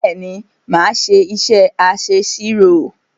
Bẹ́ẹ̀ ni, mà á ṣé iṣẹ́ aṣẹ̀sirò.